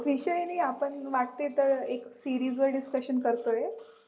विषय न आपण वाटतंय तर एक series वर discussion करतोय